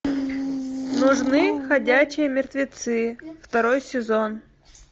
нужны ходячие мертвецы второй сезон